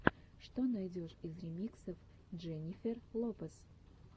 что найдешь из ремиксов дженнифер лопес